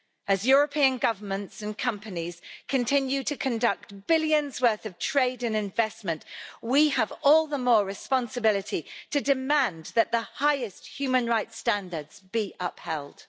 As European governments and companies continue to conduct billions worth of trade and investment, we have all the more responsibility to demand that the highest human rights standards be upheld.